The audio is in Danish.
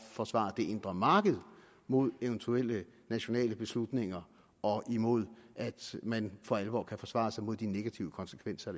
forsvare det indre marked imod eventuelle nationale beslutninger og imod at man for alvor kan forsvare sig mod de negative konsekvenser